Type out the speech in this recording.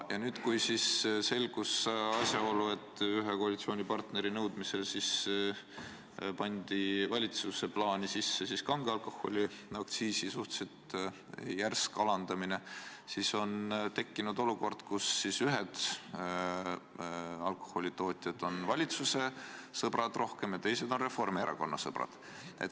Ja nüüd, kui selgus asjaolu, et ühe koalitsioonipartneri nõudmisel pandi valitsuse plaani sisse kange alkoholi aktsiisi suhteliselt järsk alandamine, on justkui tekkinud olukord, kus ühed alkoholitootjad on rohkem valitsuse sõbrad ja teised on Reformierakonna sõbrad.